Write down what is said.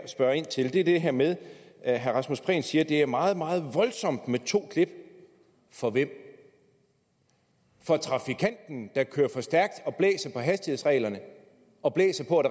spørge ind til er det her med at herre rasmus prehn siger at det er meget meget voldsomt med to klip for hvem for trafikanten der kører for stærkt og blæser på hastighedsreglerne og blæser på at